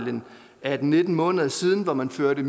atten til nitten måneder siden hvor man førte